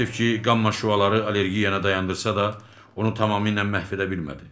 Təəssüf ki, qamma şüaları allergiyaya dayandırsa da, onu tamamilə məhv edə bilmədi.